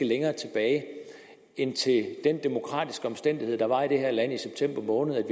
længere tilbage end til den demokratiske omstændighed der var i det her land i september måned